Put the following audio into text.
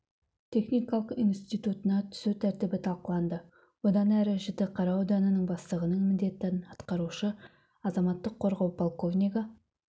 техникалық институтына түсу тәртібі талқыланды бұдан әрі жітіқара ауданының бастығының міндетін атқарушы азаматтық қорғау подполковнигі